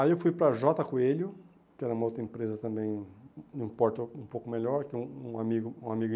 Aí eu fui para a Jota Coelho, que era uma outra empresa também num porto um pouco melhor, que um amigo amigo